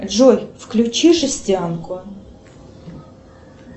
джой включи жестянку